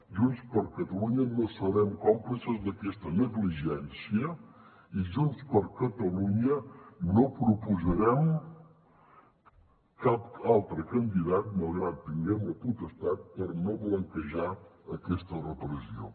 junts per catalunya no serem còmplices d’aquesta negligència i junts per catalunya no proposarem cap altre candidat malgrat que en tinguem la potestat per no blanquejar aquesta repressió